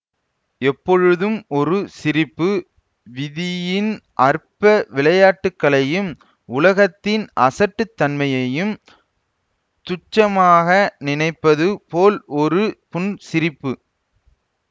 எப்பொழுதும் ஒரு சிரிப்பு விதியின் அற்ப விளையாட்டுக்களையும் உலகத்தின் அசட்டுத்தன்மையையும் துச்சமாக நினைப்பது போல் ஒரு புன்சிரிப்பு